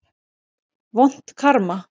Vont karma.